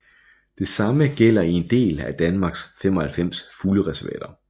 Det samme gælder i en del af Danmarks 95 fuglereservater